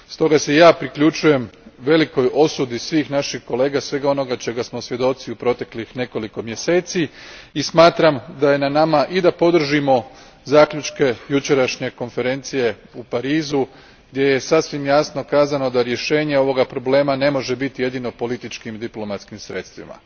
Stoga se i ja priključujem velikoj osudi svih naših kolega svega onoga čega smo svjedoci u proteklih nekoliko mjeseci, i smatram da je na nama da podržimo zaključke jučerašnje konferencije u Parizu, gdje je sasvim jasno kazano da rješenje ovoga problema ne može biti jedino političkim i diplomatskim sredstvima.